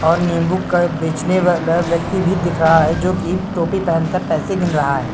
और नींबु का बेचने वाला व्यक्ति भी दिख रहा है जोकि टोपी पहन कर पैसे गिन रहा है।